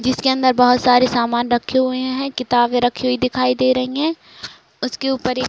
जिसके अंदर बहोत सारे सामान रखे हुए हैं। किताबे रखी हुई दिखाई दे रही हैं। उसके ऊपर एक --